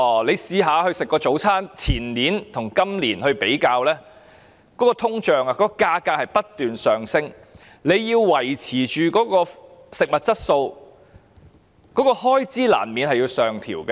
即使是早餐的價錢，如果把前年的價錢與今年的比較，大家會發現價格隨着通脹不斷上升，要維持食物的質素，開支難免要上調。